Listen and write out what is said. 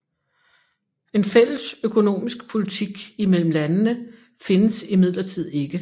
En fælles økonomisk politik imellem landene findes imidlertid ikke